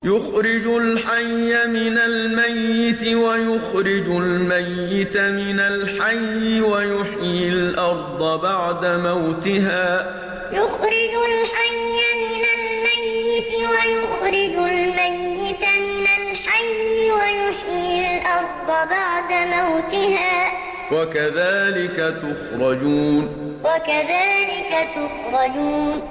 يُخْرِجُ الْحَيَّ مِنَ الْمَيِّتِ وَيُخْرِجُ الْمَيِّتَ مِنَ الْحَيِّ وَيُحْيِي الْأَرْضَ بَعْدَ مَوْتِهَا ۚ وَكَذَٰلِكَ تُخْرَجُونَ يُخْرِجُ الْحَيَّ مِنَ الْمَيِّتِ وَيُخْرِجُ الْمَيِّتَ مِنَ الْحَيِّ وَيُحْيِي الْأَرْضَ بَعْدَ مَوْتِهَا ۚ وَكَذَٰلِكَ تُخْرَجُونَ